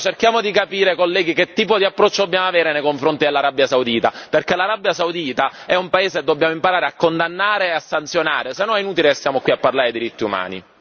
Allora cerchiamo di capire, colleghi, che tipo di approccio dobbiamo avere nei confronti dell'Arabia Saudita, perché l'Arabia Saudita è un paese che dobbiamo imparare a condannare e a sanzionare, altrimenti è inutile che stiamo qui a parlare di diritti umani.